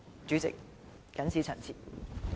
主席，謹此陳辭。